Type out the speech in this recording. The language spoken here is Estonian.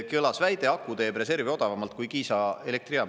Kõlas väide, et aku teeb reservi odavamalt kui Kiisa elektrijaam.